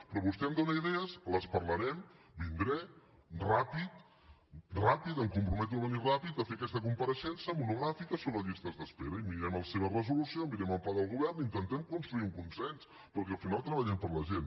però vostè em dóna idees les parlarem vindré ràpidament ràpidament em comprometo a venir ràpidament a fer aquesta compareixença monogràfica sobre llistes d’espera i mirarem la seva resolució mirem el pla del govern i intentem construir un consens perquè al final treballem per la gent